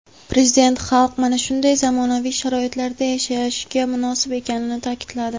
Prezident xalq mana shunday zamonaviy sharoitlarda yashashga munosib ekanini ta’kidladi.